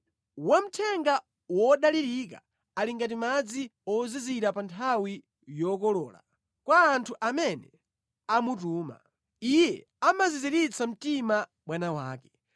Wamthenga wodalirika ali ngati madzi ozizira pa nthawi yokolola kwa anthu amene amutuma; iye amaziziritsa mtima bwana wake.